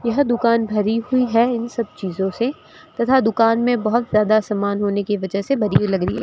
यह दुकान भरी हुई है इन सब चीजों से तथा दुकान में बहुत ज्यादा सामान होने की वजह से भरी हुई लग रही है।